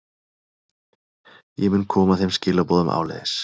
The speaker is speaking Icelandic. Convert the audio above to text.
Ég mun koma þeim skilaboðum áleiðis.